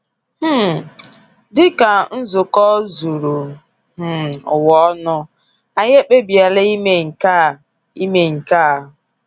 um Dịka nzukọ zuru um ụwa ọnụ, anyị ekpebiela ime nke a. ime nke a.